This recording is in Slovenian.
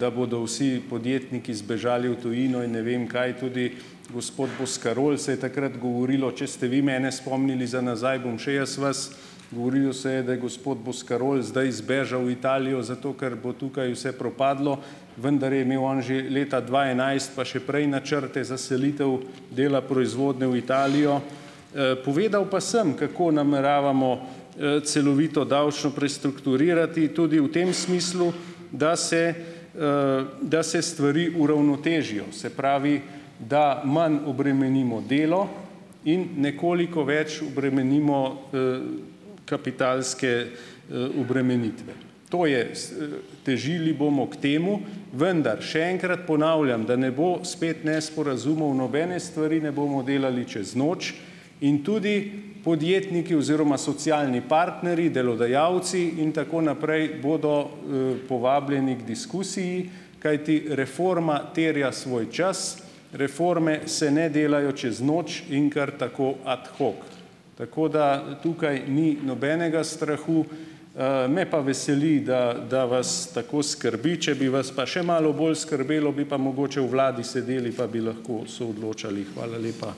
da bodo vsi podjetniki zbežali v tujino in ne vem kaj, tudi gospod Boscarol, se je takrat govorilo, če ste vi mene spomnili za nazaj, bom še jaz vas, govorilo se je, da je gospod Boscarol zdaj zbežal v Italijo zato, ker bo tukaj vse propadlo, vendar je imel on že leta dva enajst pa še prej načrte za selitev dela proizvodnje v Italijo. Povedal pa sem, kako nameravamo, celovito davčno prestrukturirati, tudi v tem smislu, da se, da se stvari uravnotežijo, se pravi, da manj obremenimo delo in nekoliko več obremenimo, kapitalske, obremenitve. To je s, težili bomo k temu vendar še enkrat ponavljam, da ne bo spet nesporazumov, nobene stvari ne bomo delali čez noč in tudi podjetniki oziroma socialni partnerji, delodajalci in tako naprej bodo, povabljeni k diskusiji, kajti reforma terja svoj čas, reforme se ne delajo čez noč in kar tako ad hoc. Tako da tukaj ni nobenega strahu, me pa veseli, da da vas tako skrbi. Če bi vas pa še malo bolj skrbelo, bi pa mogoče v vladi sedeli pa bi lahko soodločali. Hvala lepa.